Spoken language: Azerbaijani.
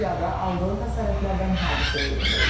Piyada aldığı xəsarətlərdən hadisə yerində ölüb.